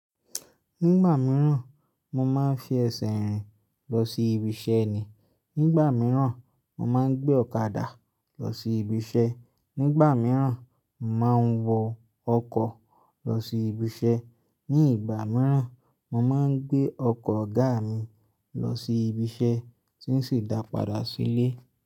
Nígbà mìíràn, mo máa ń fi ẹsẹ̀ rìn lọ sí ibiṣẹ́ ni. Nígbà mìíràn, mo máa ń gbé ọ̀kadà lọ sí ibiṣẹ́. Nígbà mìíràn, mo màá ń wọ ọkọ̀ lọ sí ibiṣẹ́. Ní ìgbà mìíràn, mo máa ń gbé ọkọ̀ ọ̀gá mi lọ sí ibi iṣẹ́ tí n sì dà padà sílé.